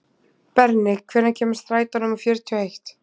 Berni, hvenær kemur strætó númer fjörutíu og eitt?